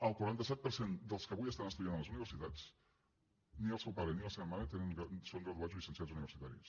el quaranta set per cent dels que avui estan estudiant a les universitats ni el seu pare ni la seva mare són graduats o llicenciats universitaris